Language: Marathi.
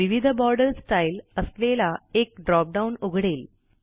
विविध बॉर्डर स्टाईल असलेला एक ड्रॉप डाउन उघडेल